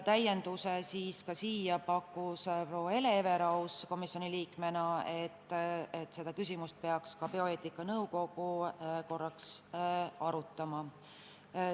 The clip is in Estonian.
Täiendavalt pakkus proua Hele Everaus komisjoni liikmena, et seda küsimust peaks arutama ka bioeetika nõukogu.